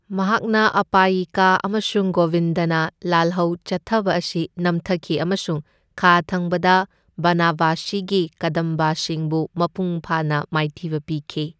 ꯃꯍꯥꯛꯅ ꯑꯞꯄꯥꯌꯤꯀꯥ ꯑꯃꯁꯨꯡ ꯒꯣꯕꯤꯟꯗꯅ ꯂꯥꯜꯍꯧ ꯆꯠꯊꯕ ꯑꯁꯤ ꯅꯝꯊꯈꯤ ꯑꯃꯁꯨꯡ ꯈꯥ ꯊꯪꯕꯗ ꯕꯅꯕꯥꯁꯤꯒꯤ ꯀꯗꯝꯕꯁꯤꯡꯕꯨ ꯃꯄꯨꯡ ꯐꯥꯅ ꯃꯥꯏꯊꯤꯕ ꯄꯤꯈꯤ꯫